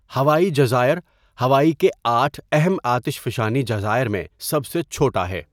ہوائی جزائر ہوائی کے آٹھ اہم آتشفشانی جزائر میں سب سے چھوٹا ہے.